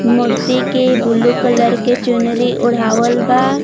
मूर्ति के blue colour के चुनरी ओढावल बा।